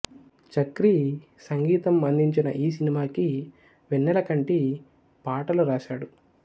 చక్రి సంగీతం అందించిన ఈ సినిమాకి వెన్నెలకంటి పాటలు రాశాడు